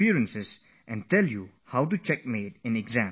Come, why don't you learn how to checkmate in exams from him